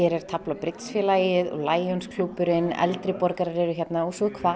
er tafl og Lionsklúbburinn eldri borgarar eru hérna og